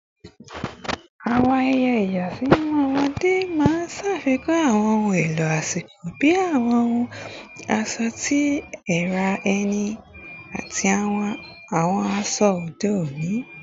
Awọn ayẹyẹ ìyàsímímọ ọmọde maa n ṣafikun awọn ohun elo asiko bi awọn ohun ọṣọ ti ara ẹni ati awọn aṣọ ode oni